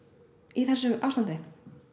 í þessu ástandi